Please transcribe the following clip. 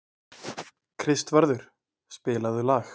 Kristvarður, spilaðu lag.